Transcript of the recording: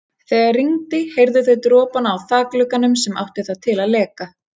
Þegar rigndi heyrðu þau dropana á þakglugganum sem átti það til að leka.